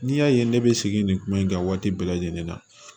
N'i y'a ye ne bɛ sigi nin kuma in kan waati bɛɛ lajɛlen na